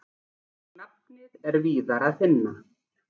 Nafnið er víðar að finna.